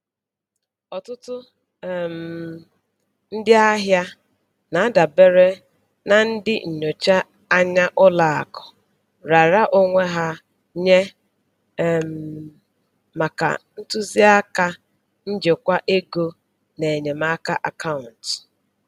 Ọtụtụ um ndị ahịa na-adabere na ndị nnọchi anya ụlọ akụ raara onwe ha nye um maka ntụzịaka njikwa ego na enyemaka akaụntụ.